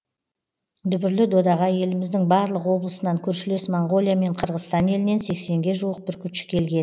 дүбірлі додаға еліміздің барлық облысынан көршілес моңғолия мен қырғызстан елінен сексенге жуық бүркітші келген